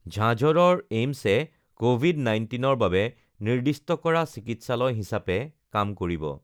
ঝাঁঝৰৰ এইমছে কভিড ১৯ৰ বাবে নিৰ্দিষ্ট কৰা চিকিৎসালয় হিচাপে কাম কৰিব